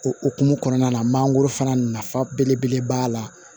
O hukumu kɔnɔna na mangoro fana nafa belebele b'a la